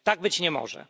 Tak być nie może.